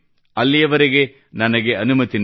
ಅಲ್ಲಿಯವರೆಗೆ ನನಗೆ ಅನುಮತಿ ನೀಡಿ